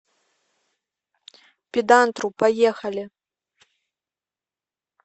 педантру поехали